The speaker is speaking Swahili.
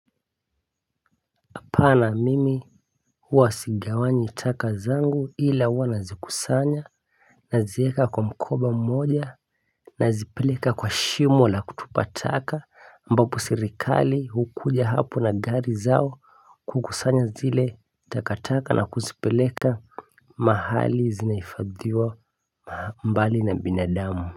Hapana mimi huwa sigawanyi taka zangu ila huwa nazikusanya, nazieka kwa mkoba mmoja, nazipeleka kwa shimo la kutupa taka, ambapo serikali hukuja hapo na gari zao kukusanya zile taka taka na kuzipeleka mahali zinahifadhiwa. Mbali na binadamu.